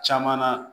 Caman na